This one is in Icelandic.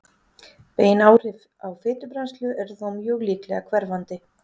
bein áhrif á fitubrennslu eru þó mjög líklega hverfandi